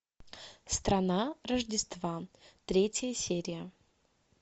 страна рождества третья серия